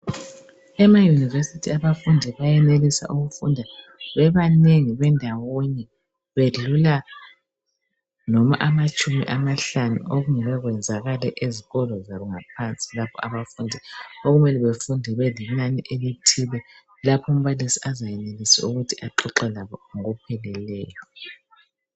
EmaUniversity abafundi bayenelisa ukufunda bebanengi bendawonye bedlula noma amatshumi amahlanu okungeke kwenzakale ezikolo zangaphansi lapho abafundi okumele befunde belinani elithile laphumbalisi azayenelisa ukuthi axoxe labo ngokupheleleyo.